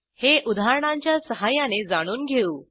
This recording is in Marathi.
हे उदाहरणांच्या सहाय्याने जाणून घेऊ